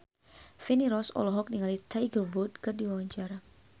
Feni Rose olohok ningali Tiger Wood keur diwawancara